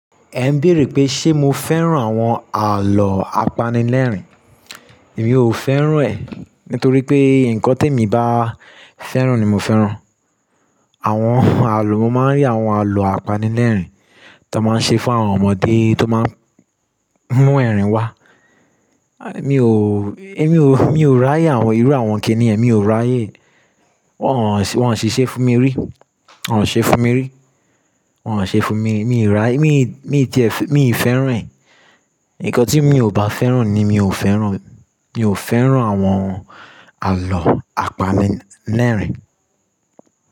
Ẹ ń béèrè pé ṣe mo fẹ́ràn àwọn àlọ́ apanilẹ́rìn? Èmi ò fẹ́ràn ẹ̀ nítorí pé nǹkan tí èmi bá fẹ́ràn ni mo fẹ́ràn. Àwọn àlọ́, mo máa ń rí àwọn àlọ́ apanilẹ́rìn tó máa ń ṣe fún àwọn ọmọdé tó máa ń mú ẹ̀rín wá. À mí ò, èmi ò, mi ò ráyè àwọn, irú àwọn kìní yẹn mi ò ráyè. Wọn ò si se fún mi rí. Wọn ò ṣe fún mi rí. Wọn ò ṣe fún mi, mi ò ráyè, mi, mi ti ẹ̀, mi ì fẹ́ràn ẹ̀. Ǹkan tí mi ò bá fẹ́ràn ni mi ò fẹ́ràn. Mi ò fẹ́ràn àwọn àlọ́ apanilẹ́rìn.